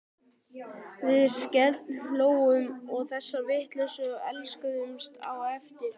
Við skellihlógum að þessari vitleysu og elskuðumst á eftir.